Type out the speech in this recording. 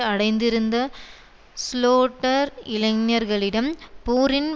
அடைந்திருந்த சுலோட்டர் இளைஞர்களிடம் போரின்